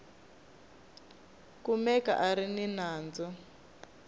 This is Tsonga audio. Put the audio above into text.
kumeka a ri ni nandzu